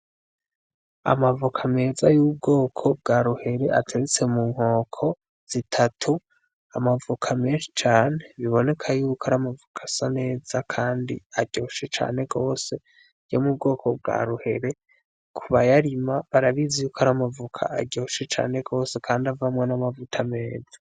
Amavoka meza y'ubwoko bwa ruhere ateretse mu nkoko zitatu, amavoka menshi cane biboneka yuko ari amavoka asa neza kandi aryoshe cane gose yo mu bwoko bwa ruhere, kubayarima barabizi yuko ari amavoka aryoshe cane gose kandi avamwo n'amavuta meza.